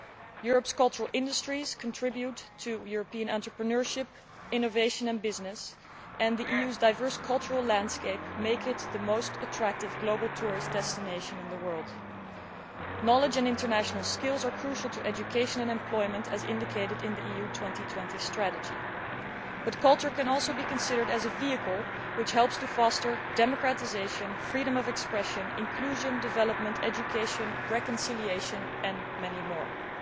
Europe's cultural industries contribute to European entrepreneurship, innovation and business, and the EU's diverse cultural landscape makes it the most attractive tourist destination in the world. Knowledge and international skills are crucial to education and employment, as indicated in the EU 2020 strategy, but culture can also be considered as a vehicle which helps to foster democratisation, freedom of expression, inclusion, development, education, reconciliation and much else.